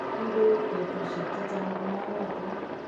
kikueku petushek chichang ku maarotin